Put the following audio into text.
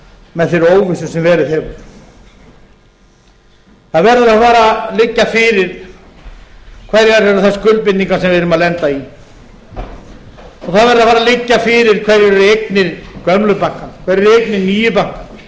með þeirri óvissu sem verið hefur það verður að fara að liggja fyrir hverjar er þær skuldbindingar sem við erum að lenda í og það verður að fara að liggja fyrir hverjar eru eignir gömlu bankanna og hverjar eru eignir